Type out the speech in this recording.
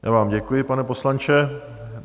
Já vám děkuji, pane poslanče.